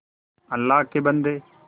अल्लाह के बन्दे